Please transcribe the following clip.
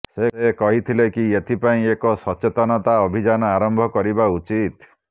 ସେ କହିଥିଲେ କି ଏଥିପାଇଁ ଏକ ସଚେତନତା ଅଭିଯାନ ଆରମ୍ଭ କରିବା ଉଚିତ